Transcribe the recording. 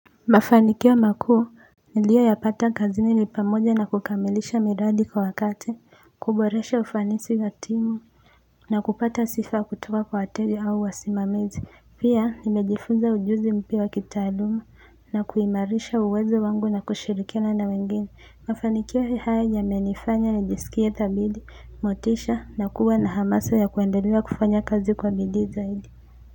Mafanikio makuu nilioyapata kazi ni pamoja na kukamilisha miradi kwa wakati kuboresha ufanisi ya timu na kupata sifa kutoka kwa wateja au wasimamizi pia nimejifunza ujuzi mpya wa kitaaluma na kuimarisha uwezo wangu na kushirikiana na wengine mafanikia hii haya yamenifanya nijisikie thabidi motisha na kuwa na hamasa ya kuendelea kufanya kazi kwa bidii zaidi.